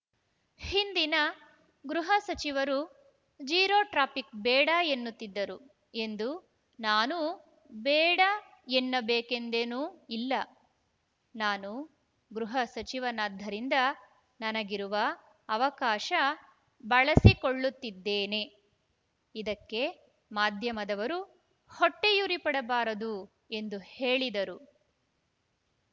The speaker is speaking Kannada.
ಹಿಂದಿನ ಗೃಹ ಸಚಿವರು ಜೀರೋ ಟ್ರಾಫಿಕ್‌ ಬೇಡ ಎನ್ನುತ್ತಿದ್ದರು ಎಂದು ನಾನೂ ಬೇಡ ಎನ್ನಬೇಕೆಂದೇನೂ ಇಲ್ಲ ನಾನು ಗೃಹ ಸಚಿವನಾದ್ದರಿಂದ ನನಗಿರುವ ಅವಕಾಶ ಬಳಸಿಕೊಳ್ಳುತ್ತಿದ್ದೇನೆ ಇದಕ್ಕೆ ಮಾಧ್ಯಮದವರು ಹೊಟ್ಟೆಯುರಿ ಪಡಬಾರದು ಎಂದು ಹೇಳಿದರು